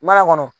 Mana kɔnɔ